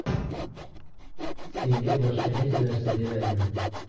Senga boshqa hech narsa demayman.